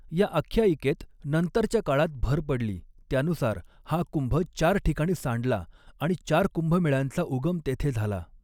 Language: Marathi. या आख्यायिकेत नंतरच्या काळात भर पडली, त्यानुसार, हा कुंभ चार ठिकाणी सांडला आणि चार कुंभमेळ्यांचा उगम तेथे झाला.